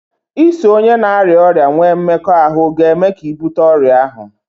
iso onye na-arịa ọrịa nwee mmekọahụ ga-eme ka ị bute ọrịa ahụ